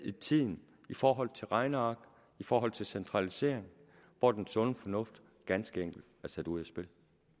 i tiden i forhold til regneark i forhold til centralisering hvor den sunde fornuft ganske enkelt er sat ud af spil